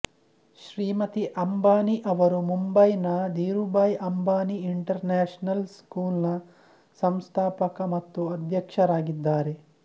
ಶ್ರೀಮತಿ ಅಂಬಾನಿ ಅವರು ಮುಂಬೈನ ಧೀರೂಭಾಯಿ ಅಂಬಾನಿ ಇಂಟರ್ನ್ಯಾಷನಲ್ ಸ್ಕೂಲ್ನ ಸಂಸ್ಥಾಪಕ ಮತ್ತು ಅಧ್ಯಕ್ಷರಾಗಿದ್ದಾರೆ